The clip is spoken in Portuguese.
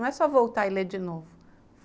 Não é só voltar e ler de novo.